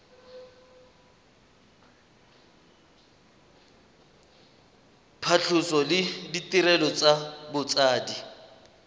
phatlhoso le ditirelo tsa botsadi